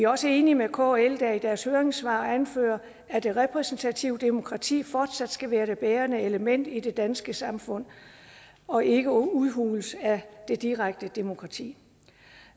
også enige med kl der i deres høringssvar anfører at det repræsentative demokrati fortsat skal være det bærende element i det danske samfund og ikke udhules af det direkte demokrati